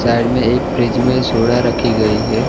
Side में एक fridge में सोडा रखी गई है।